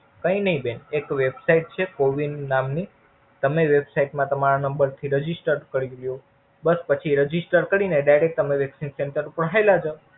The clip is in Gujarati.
કય ની બેન. એક Website છે Cowin નામની. તમે Website માં તમારા નંબર થી Register કરી દયો. બસ પછી Register કરી ને Direct તમે Vaccine center ઉપર હાલ્યા જાવ.